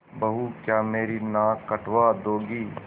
बहू क्या मेरी नाक कटवा दोगी